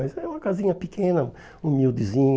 Mas é uma casinha pequena, humildezinha.